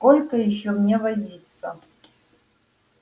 сколько ещё мне возиться